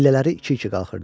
Pillələri iki-iki qalxırdı.